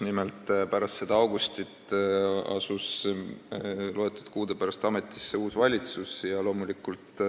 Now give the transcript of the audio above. Nimelt, mõni kuu pärast seda augustit asus ametisse uus valitsus.